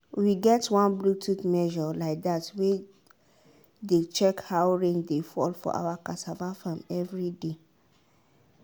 we get one bluetooth measure like that wey dey check how rain dey fall for our cassava farm every day.